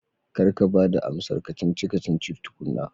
Kar ka ba da amsar ka-cici-kacici tukuna